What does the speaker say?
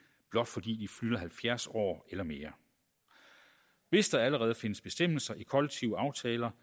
blot fordi de fylder halvfjerds år eller mere hvis der allerede findes bestemmelser i kollektive aftaler